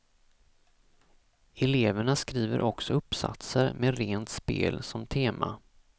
Eleverna skriver också uppsatser med rent spel som tema.